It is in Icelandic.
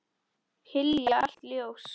Hylja allt ljós.